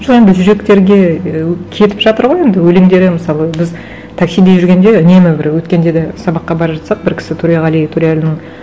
жоқ енді жүректерге ы кетіп жатыр ғой енді өлеңдері мысалы біз таксиде жүргенде нені бір өткенде де сабаққа бара жатсақ бір кісі төреғали төреәлінің